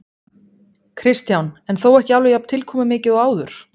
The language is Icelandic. Kristján: En þó ekki alveg jafn tilkomumikið og áður?